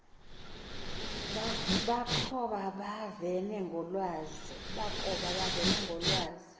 bakoba bevene ngekhazi